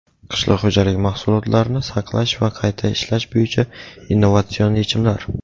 Qishloq xo‘jaligi mahsulotlarni saqlash va qayta ishlash bo‘yicha innovatsion yechimlar.